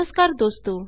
नमस्कार दोस्तों